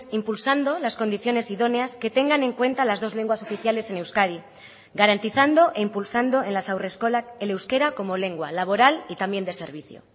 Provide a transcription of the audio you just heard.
impulsando las condiciones idóneas que tengan en cuenta las dos lenguas oficiales en euskadi garantizando e impulsando en las haurreskolak el euskera como lengua laboral y también de servicio